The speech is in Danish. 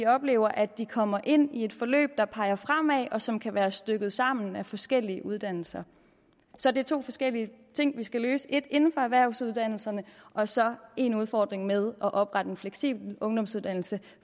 oplever at de kommer ind i et forløb der peger fremad og som kan være stykket sammen af forskellige uddannelser så det er to forskellige ting vi skal løse inden for erhvervsuddannelserne og så en udfordring med at oprette en fleksibel ungdomsuddannelse